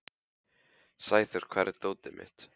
Sæþór, hvar er dótið mitt?